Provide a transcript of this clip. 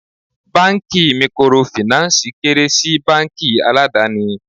Báńkì Mikorofìnánsìì kéré sí báńkì aládàni.